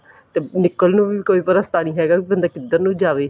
ਤੇ ਨਿਕਲਣ ਨੂੰ ਵੀ ਕੋਈ ਰਸਤਾ ਨੀ ਹੈਗਾ ਬੰਦਾ ਕਿੱਧਰ ਨੂੰ ਜਾਵੇ